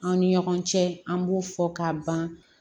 Aw ni ɲɔgɔn cɛ an b'u fɔ ka ban